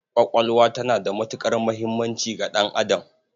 Ƙwaƙwalwa tana da matuƙar muhimmanci ga ɗan'adam.